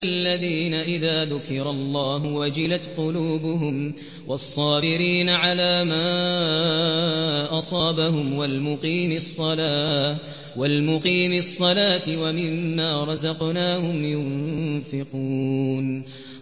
الَّذِينَ إِذَا ذُكِرَ اللَّهُ وَجِلَتْ قُلُوبُهُمْ وَالصَّابِرِينَ عَلَىٰ مَا أَصَابَهُمْ وَالْمُقِيمِي الصَّلَاةِ وَمِمَّا رَزَقْنَاهُمْ يُنفِقُونَ